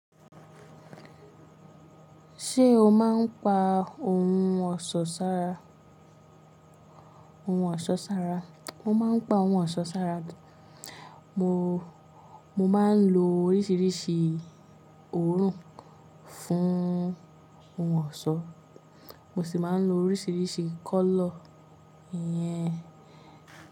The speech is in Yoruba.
Ṣé o máa ń pa ohun ọ̀ṣọ́ sára? Ohun ọ̀ṣọ́ sára, mo máa ń pa ohun ọ̀ṣọ́ sára. Mo, mo máa ń lo oríṣiríṣi òórùn fún ohun ọ̀ṣọ́, mo sì máa ń lo oríṣiríṣi color iyẹn.